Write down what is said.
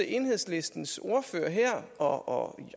enhedslistens ordfører her og i